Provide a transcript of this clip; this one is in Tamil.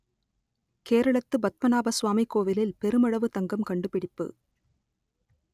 கேரளத்து பத்மநாப சுவாமி கோவிலில் பெருமளவு தங்கம் கண்டுபிடிப்பு